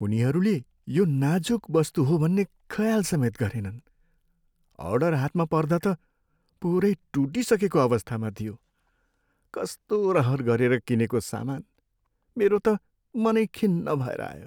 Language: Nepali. उनीहरूले यो नाजुक वस्तु हो भन्ने ख्याल समेत गरेनन्। अर्ड हातमा पर्दा त पुरै टुटिसकेको अवस्थामा थियो। कस्तो रहर गरेर किनेको सामान, मेरो त मनै खिन्न भएर आयो।